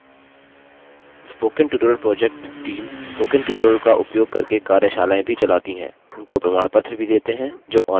spoken tutorial project team spoken tutorial का उपयोग करके कार्यशालाएँ भी चलाती है उनको प्रमाणपत्र भी देते हैं जो ऑनलाइन टेस्ट पास करते हैं